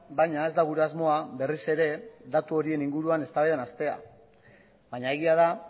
baina ez da gure asmoa berriz ere datu horien inguruan eztabaidan hastea baina egia da